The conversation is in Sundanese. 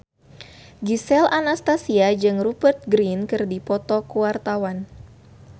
Gisel Anastasia jeung Rupert Grin keur dipoto ku wartawan